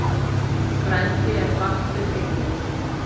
Frændi er fastur eyrir.